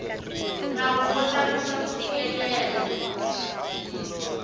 nawu wo tlakusa ku fikelela